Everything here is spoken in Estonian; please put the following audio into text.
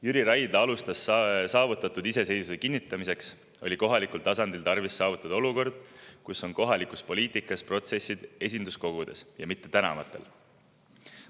Jüri Raidla ütles, et saavutatud iseseisvuse kinnitamiseks oli kohalikul tasandil tarvis saavutada olukord, kus kohaliku poliitika protsessid toimuvad esinduskogudes ja mitte tänavatel.